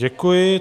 Děkuji.